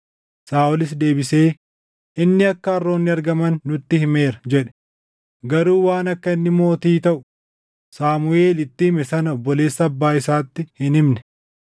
Saaʼolis deebisee, “Inni akka harroonni argaman nutti himeera” jedhe; garuu waan akka inni mootii taʼu Saamuʼeel itti hime sana obboleessa abbaa isaatti hin himne.